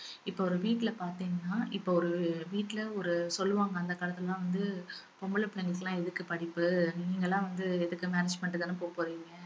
இப்ப ஒரு வீட்ல பாத்தீங்கன்னா இப்ப ஒரு வீட்டில ஒரு சொல்லுவாங்க அந்த காலத்துலலாம் வந்து பொம்பள பிள்ளைகளுக்கெல்லாம் எதுக்கு படிப்பு நீங்களாம் வந்து எதுக்கு marriage பண்ணிட்டு தான போக போறீங்க